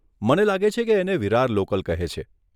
મને લાગે છે કે એને વિરાર લોકલ કહે છે.